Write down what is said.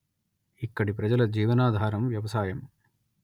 ఇక్కడి ప్రజల జీవనాధారం వ్యవసాయం